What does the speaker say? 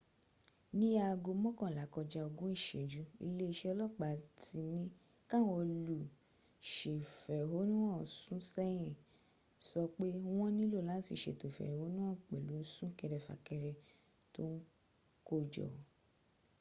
ní aago mọ́kànlá kọjá ogún ìsẹ́jù iléeṣẹ́ ọlọ́ọ̀pá tí ní káwọn olùsèfẹ̀hónúhàn sún sẹ́yìn sọ pé wọ́n nílò láti sètò ìfẹ̀hónúhàn pẹ̀lú súnkẹrẹ fàkẹrẹ tó ń kó jọ